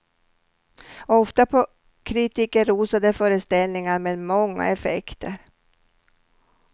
Ofta på kritikerrosade föreställningar med många effekter.